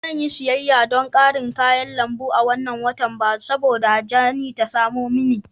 Ba zan yi siyayya don ƙarin kayan lambu a wannan watan ba saboda Jane ta samo mini.